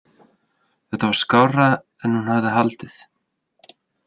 Þetta var skárra en hún hafði haldið.